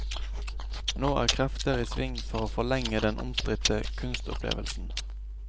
Nå er krefter i sving for å forlenge den omstridte kunstopplevelsen.